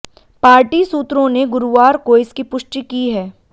party सूत्रों ने गुरुवार को इसकी पुष्टि की है